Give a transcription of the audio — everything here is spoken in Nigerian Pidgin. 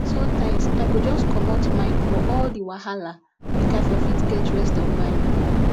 sonetimes i go just comot mind fo all the wahala mak i for fit get rest of mind